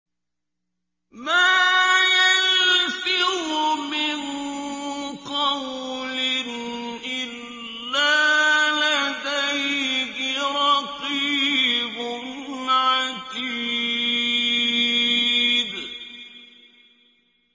مَّا يَلْفِظُ مِن قَوْلٍ إِلَّا لَدَيْهِ رَقِيبٌ عَتِيدٌ